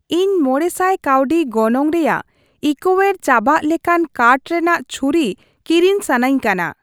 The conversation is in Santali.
ᱤᱧ ᱢᱚᱬᱮ ᱥᱟᱭ ᱠᱟᱹᱣᱰᱤ ᱜᱚᱱᱚᱝ ᱨᱮᱭᱟᱜ ᱤᱠᱳᱣᱮᱨ ᱪᱟᱵᱟᱜ ᱞᱮᱠᱟᱱ ᱠᱟᱴᱷ ᱨᱮᱱᱟᱜ ᱪᱷᱩᱨᱤ ᱠᱤᱨᱤᱧ ᱥᱟᱱᱟᱧ ᱠᱟᱱᱟ ᱾